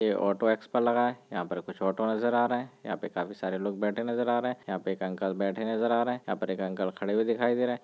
ये ऑटो एक्स पर लगा है यहां पर कुछ ऑटो नजर आ रहे हैं यहां पे काफी लोग बैठे नजर आ रहे हैं यहां पे एक अंकल बैठे नज आ रहे हैं यहां पर एक अंकल खड़े हुए दिखाई दे रहे हैं।